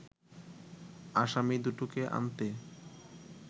আসামী দুটোকে আনতে